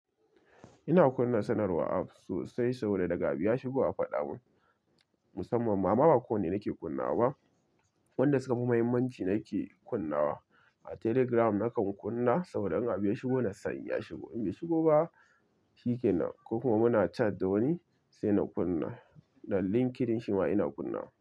Ina kunna sanarwa sosai saboda daga abu ya shigo a faɗa mun, musamman ma ba kowane nake kunnawa ba. Wanda suka fi muhimmanci nake kunnawa. A telegram nakan kunna, saboda in abu ya shigo na san ya shigo. In bai shigo ba shikenan, ko kuma muna chat da wani sai na kunna. Dan LinkedIn shi ma ina kunna.